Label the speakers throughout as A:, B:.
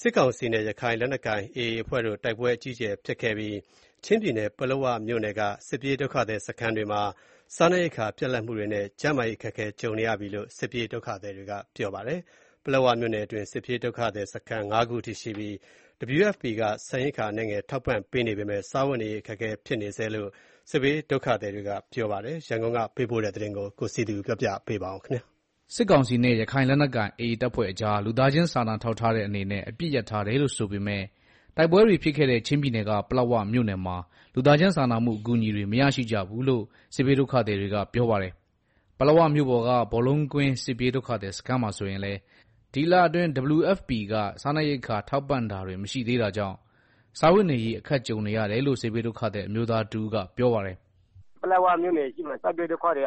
A: စစ်ကောင်စီနဲ့ ရခိုင်လက်နက်ကိုင်AAအဖွဲ့တို့ တိုက်ပွဲ အကြီးအကျယ်ဖြစ်ပွားခဲ့တဲ့ ချင်းပြည်နယ် ပလက်ဝမြို့နယ်က စစ်ပြေးဒုက္ခသည်စခန်းတွေမှာ စားနပ်ရိက္ခာပြတ်လပ်မှူတွေနဲ့ ကျန်းမာရေးအခက်ကြုံနေရတယ်လို့ စစ်ပြေးဒုက္ခသည်တွေကပြောပါတယ်။ ပလက်ဝမြို့ နယ်တွင်း စစ်ပြေးဒုက္ခသည်စခန်း ၅ခုအထိရှိပြီး WFP က ဆန်ရိက္ခာ အနည်းငယ်ထောက်ပံ့နေပေမယ့် စားဝတ်နေရေးခက်ခဲနေဆဲဖြစ်တယ်လို့ စစ်ဘေးဒုက္ခသည်တွေက ပြောပါတယ်။ ရန်ကုန်ကပေးပို့တဲ့သတင်း ကိုစည်သူပြောပြမှာပါ။
B: စစ်ကောင်စီနဲ့ ရခိုင်လက်နက်ကိုင် AA အဖွဲ့တို့အကြား လူသားချင်းစားနာထောက်ထားတဲ့အနေနဲ့ အပစ်ရပ်ထားတယ်လို့ဆိုပေမယ့်၊ တိုက်ပွဲတွေဖြစ်ခဲ့တဲ့ ချင်းပြည်နယ်က ပလက်ဝမြို့နယ်မှာ လူသားချင်းစာနာမှုအကူအညီတွေ မရရှိကြဘူးလို့ စစ်ဘေးဒုက္ခသည်တွေက ပြောပါတယ်။ ပလက်ဝမြို့ပေါ်က ဘောလုံးကွင်းစစ်ပြေးဒုက္ခသည်စခန်းမှာဆိုရင်လည်း ဒီလအတွင်း WFPက စားနပ်ရိက္ခာထောက်ပံ့တာတွေမရှိသေးတာကြောင့် စားဝတ်နေရေးအခက်ကြုံနေရတယ်လို့ စစ်ဘေးဒုက္ခသည် အမျိုးသားတဦးကပြောပါတယ်။
C: “ ပလက်ဝမြို့နယ် စစ်ဘေးဒုက္ခသည်တွေက စားနပ်ရိ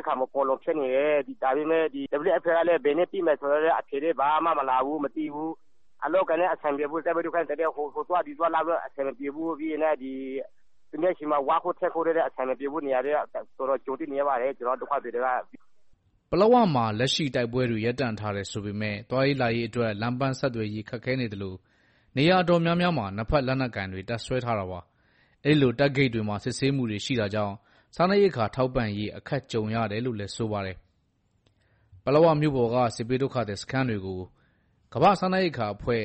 C: က္ခာမဖူလုံဖြစ်နေတယ်၊ WFPကလဲ ဘယ်နေ့ပေးမယ်ဆိုတာလဲ အဖြေလဲမလာဘူးမသိဘူး။ အလုပ်အကိုင်တွေလဲ အဆင်မပြေဘူး ဟိုသွား ဒီသွားကလဲ အဆင်မပြေဘူး၊ သူများဆီမှာ ဝါးခုတ်ထင်းခုတ်တွေလဲ အဆင်မပြေဘူး၊ အခက်အခဲတော်တော်ကြုံတွေ့နေရပါတယ် ကျနော်တို့ ဒုက္ခသည်တ
B: ွေက။” ပလက်ဝမှာလက်ရှိတိုက်ပွဲတွေ ရပ်တန့်ထားတယ်ဆိုပေမယ့် သွားရေးလာရေးအတွက် လမ်းပန်းဆက်သွယ် ရေးခက်ခဲသလို နေရာတော်တော်များများမှာ နှစ်ဖက်လက်နက်ကိုင်တပ်စွဲထားတာပါ။ အဲလို တပ်ဂိတ်တွေမှာ စစ်ဆေးမှုတွေရှိတာကြောင့် စားနပ်ရိက္ခာထောက်ပံ့ရေးအခက်ကြုံကြရတယ်လို့ဆိုပါတယ်။ ပလက်ဝမြို့ပေါ်က စစ်ဘေးဒုက္ခသည်စခန်းတွေကို ကမ္ဘာ့စားနပ်ရိက္ခာအဖွဲ့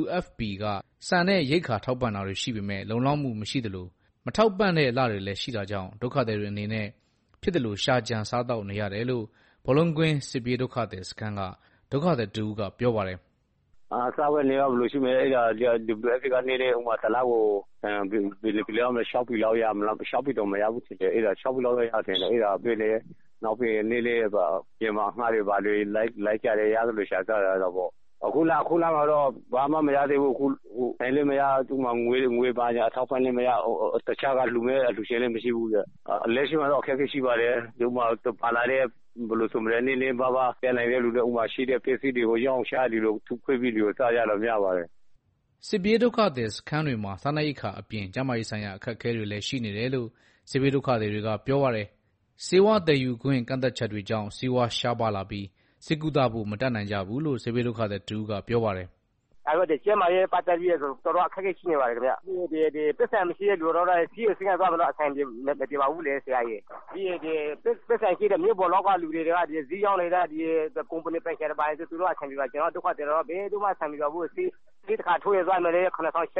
B: WFP က ဆန်ရိက္ခာထောက်ပံ့တာတွေရှိပေမယ့် လုံလောက်မှုမရှိသလို၊ မထောက်ပံ့တဲ့လတွေလဲ ရှိတာကြောင့် ဒုက္ခသည်တွေအနေနဲ့ဖြစ်သလို ရှာကြံစားသောက်နေရတယ်လို့ ဘောလုံးကွင်းစစ်ပြေးဒုက္ခသည်စခန်းက ဒုက္ခသည်တဦးကပြောပါတယ်။
D: “ စားဝတ်နေရေးကတော့ ဘယ်လိုရှိမလဲ WFPက တစ်လကို ဆန် ၆ပြည်လောက် ပေးတယ်၊ နောက်အပြင်မှာ အငှားလိုက်ပြီးတော့ ဖြစ်သလို ရှာစားကြတယ်၊ အခုလမှာတော့ ဘာမှ မရ ဆန်လဲမရ ငွေဘာညာလဲမရ၊ တခြားက လှူမယ့်အလှူရှင်လဲ မရှိဘူးဆိုတော့၊လက်ရှိမှာတော့ အခက်အခဲရှိပါတယ်၊ နည်းနည်းပါးပါး ရှိတဲ့သူတွေကလဲ ပါလာတဲ့ ပစ္စည်းတွေကို ထုခွဲရောင်းချပြီးတော့ စားကြပါတယ်။
B: ” စစ်ပြေးဒုက္ခသည်စခန်းတွေမှာ စားနပ်ရိက္ခာအပြင် ကျန်းမာရေးဆိုင်ရာ အခက်အခဲတွေလဲရှိနေတယ်လို့ စစ်ဘေးဒုက္ခသည်တွေကပြောပါတယ်။ ဆေးဝါးသယ်ယူခွင့် ကန့်သတ်ချက်တွေကြောင့် ဆေးဝါးရှားပါးလာပြီး ဆေးကုသဖို့ မတတ်နိုင်ကြဘူးလို့ စစ်ဘေးဒုက္ခသည်တဦးကပြောပါတယ်။
C: “ ကျန်းမာရေးနဲ့ ပတ်သတ်ပြီး ကျနော်တို့တော်တော်အခက်ကြုံနေရတယ်၊ ဆေးရုံဆေး ခန်းသွားဖို့လဲ အဆင်မပြေဘူး၊ မြို့ပေါ်က ဆိုင်ပိုင်ရှင်တွေ ကုမ္ဗဏီပိုင်ရှင် တွေကတော့ အဆင်ပြေတယ် ကျနော်တို့ဒုက္ခသည်တွေက ဘယ်သူမှအဆင်မပြေဘူး၊ ဆေးတခါးထိုးရင် ၇ထောင် ၈ထောင်နဲ့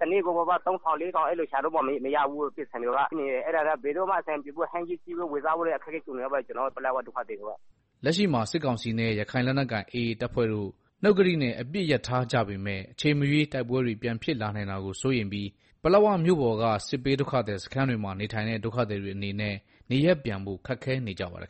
C: တစ်နေ့ကို သုံးလေးထောင်တောင်ရှာမရဘူး။ ဟင်းသီးဟင်းရွက် ဝယ်စားဖို့တောင် ဒုက္ခကြုံနေရတယ်။”
B: လက်ရှိမှာ စစ်ကောင်စီနဲ့ ရခိုင်လက်နက်ကိုင်AAအဖွဲ့တို့ နှုတ်ကတိနဲ့ အပစ်ရပ်ထားကြတယ်ဆိုပေမယ့် အချိန်မရွေးတိုက်ပွဲတွေ ပြန်ဖြစ်လာနိုင်တာကိုစိုးရိမ်ပြီး၊ ပလက်ဝမြို့ပေါ်က စစ်ပြေးဒုက္ခသည်စခန်းတွေမှာ နေထိုင်တဲ့ ဒုက္ခသည်တွေအနေနဲ့ နေရပ်ပြန်ဖို့ခက်ခဲနေကြပါတယ်